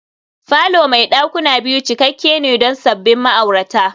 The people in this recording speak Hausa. falo mai dakuna biyu cikakke ne don sabbin ma'aurata